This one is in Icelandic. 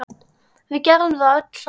Við gerðum það öll saman.